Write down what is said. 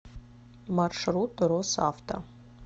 маршрут росавто